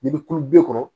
N'i bɛ kulo bi kɔrɔ